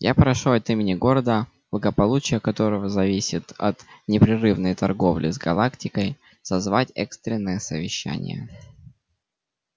я прошу от имени города благополучие которого зависит от непрерывной торговли с галактикой созвать экстренное совещание